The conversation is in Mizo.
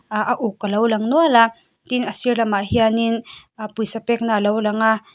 ahh a uk a lo lang nual a tin a sir lamah hianin ahh pawisa pekna a lo lang a.